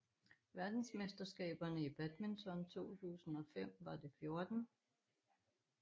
Verdensmesterskaberne i badminton 2005 var det 14